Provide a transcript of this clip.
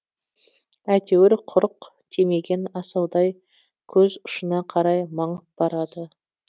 әйтеуір құрық тимеген асаудай көз ұшына қарай маңып барады